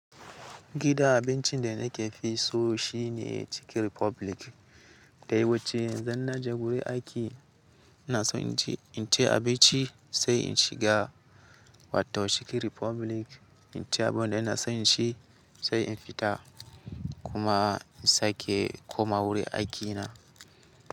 Gidan abincin da nakefi so shine Chicken Republic. Da yawance idan naje guri aiki ina son inci, inci abinci sai in shiga wato Chicken Republic inci abunda ina son inci sai in fita kuma in sake koma wurin aikina.